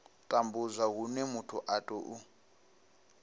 tambudzwa hune muthu a tou